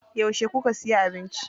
Yauce kuka siya abinci?